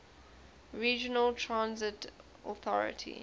regional transit authority